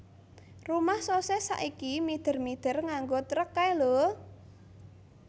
Rumah Sosis saiki mider mider nganggo trek kae lho